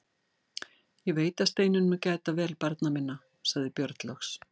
Ég veit að Steinunn mun gæta vel barna minna, sagði Björn loks.